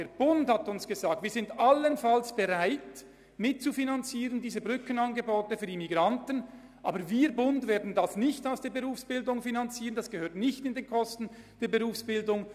Der Bund hat uns gesagt, er sei allenfalls bereit, diese Brückenangebote für Immigranten mitzufinanzieren, aber er werde dies nicht über die Berufsbildung tun, denn diese gehörten nicht zu den Kosten der Berufsbildung.